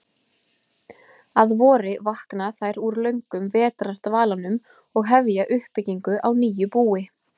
Að vori vakna þær úr löngum vetrardvalanum og hefja uppbyggingu á nýju búi.